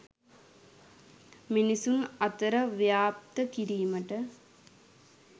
මිනිසුන් අතර ව්‍යාප්ත කිරීමට